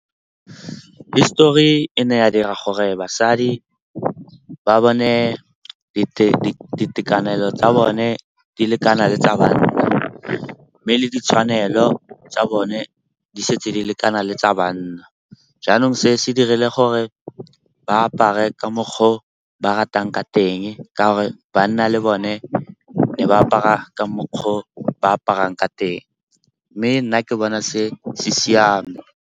Histori e ne ya dira gore basadi ba bone ditekanelo tsa bone di lekana le tsa banna mme le ditshwanelo tsa bone di setse di lekana le tsa banna. Jaanong se se dirile gore ba apare ka mokgwa o ba ratang ka teng, ka gore banna le bone ne ba apara ka mokgwa o ba aparang ka teng. Mme nna ke bona se se siame.